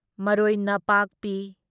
ꯃꯔꯣꯢꯅꯥꯄꯥꯛꯄꯤ